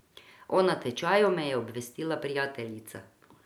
O natečaju me je obvestila prijateljica.